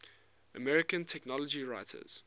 american technology writers